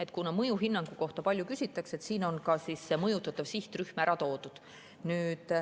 Ja kuna mõjuhinnangu kohta palju küsitakse, siis on siin ka mõjutatav sihtrühm ära toodud.